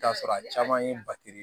I bi t'a sɔrɔ a caman ye batiri